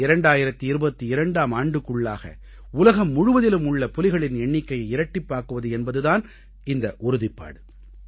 2022ஆம் ஆண்டுக்குள்ளாக உலகம் முழுவதிலும் உள்ள புலிகளின் எண்ணிக்கையை இரட்டிப்பாக்குவது என்பது தான் இந்த உறுதிப்பாடு